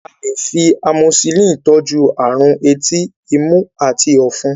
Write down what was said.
a lẹ fí amoxicillin tọjú àrùn etí, imú ati òfún.